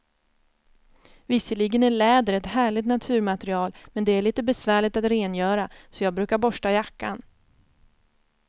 Visserligen är läder ett härligt naturmaterial, men det är lite besvärligt att rengöra, så jag brukar borsta jackan.